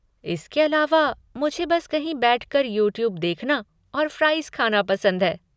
इसके अलावा, मुझे बस कहीं बैठकर यूट्यूब देखना और फ़्राइज़ खाना पसंद है।